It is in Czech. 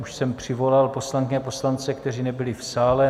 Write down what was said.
Už jsem přivolal poslankyně a poslance, kteří nebyli v sále.